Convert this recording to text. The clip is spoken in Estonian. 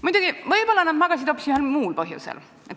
Muidugi, võib-olla nad magasid hoopis ühel muul põhjusel.